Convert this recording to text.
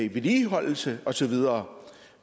i vedligeholdelse og så videre